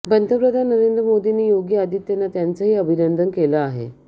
पंतप्रधान नरेंद्र मोदींनी योगी आदित्यनाथ यांचंही अभिनंदन केलं आहे